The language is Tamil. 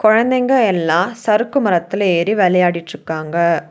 கொழந்தைங்க எல்லா சரக்கு மரத்துல ஏறி வெளையாடிட்ருக்காங்க.